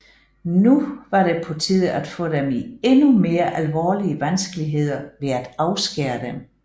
Nu var det på tide at få dem i endnu mere alvorlige vanskeligheder ved at afskære dem